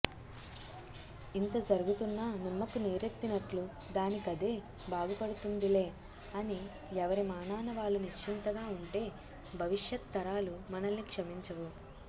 ఇంత జరుగుతున్నా నిమ్మకు నీరెత్తినట్లు దానికదే బాగుపడుతుందిలే అని ఎవరి మానాన వాళ్లు నిశ్చింతగా ఉంటే భవిష్యత్తరాలు మనల్ని క్షమించవు